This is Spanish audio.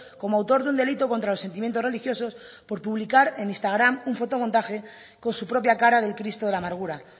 como autor de un delito contra los sentimientos religiosos por publicar en instagram un fotomontaje con su propia cara del cristo de la amargura